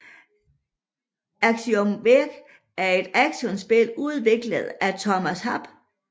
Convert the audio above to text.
Axiom Verge er et actionspil udviklet af Thomas Happ